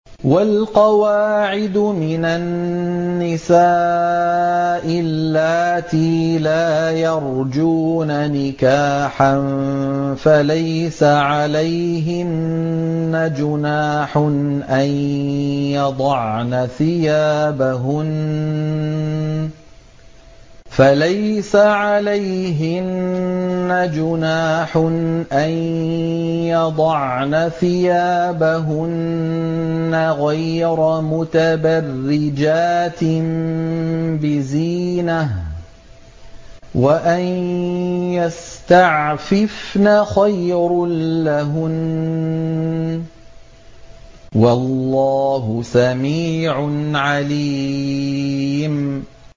وَالْقَوَاعِدُ مِنَ النِّسَاءِ اللَّاتِي لَا يَرْجُونَ نِكَاحًا فَلَيْسَ عَلَيْهِنَّ جُنَاحٌ أَن يَضَعْنَ ثِيَابَهُنَّ غَيْرَ مُتَبَرِّجَاتٍ بِزِينَةٍ ۖ وَأَن يَسْتَعْفِفْنَ خَيْرٌ لَّهُنَّ ۗ وَاللَّهُ سَمِيعٌ عَلِيمٌ